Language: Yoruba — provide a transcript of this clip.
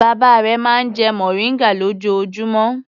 Bàbá rẹ̀ máa ń jẹ mòríngà lójoojúmọ́.